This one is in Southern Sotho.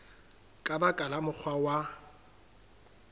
ka ba ka mokgwa wa